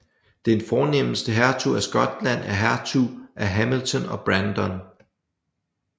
Den fornemeste hertug af Skotland er hertugen af Hamilton og Brandon